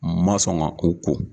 N ma sɔn ka ko ko.